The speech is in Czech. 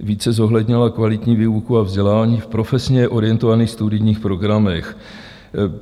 více zohlednila kvalitní výuku a vzdělání v profesně orientovaných studijních programech.